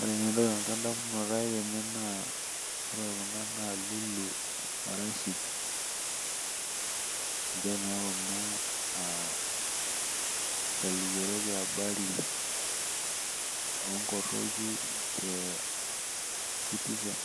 Ore edamunoto ai tene na ore Kuna naa lulu o Rashid, ninche naa Kuna aa nkalikiorot e abari, oo nkoroki te citizen,